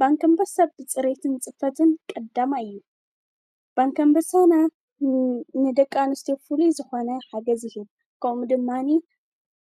ባንኪ ኣንሰሳ ብፅሬየትን ጽፈትን ቀዳማየ እዩ፡፡ ባንኪ ኣምበሳ ናይ ንደቂ ኣንስትዮ ፍሉይ ዝኾነ ሓገዝ ይህብ፡፡ ከምኡ ድማኒ